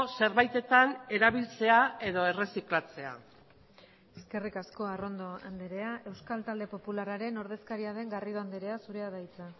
zerbaitetan erabiltzea edo erreziklatzea eskerrik asko arrondo andrea euskal talde popularraren ordezkaria den garrido andrea zurea da hitza